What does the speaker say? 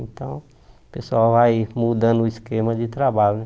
Então, o pessoal vai mudando o esquema de trabalho, né?